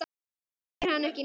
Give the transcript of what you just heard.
Hún þekkir hann ekki neitt.